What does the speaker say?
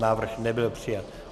Návrh nebyl přijat.